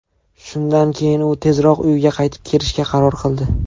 Shundan keyin u tezroq uyiga qaytib kirishga qaror qildi.